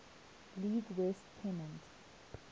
league west pennant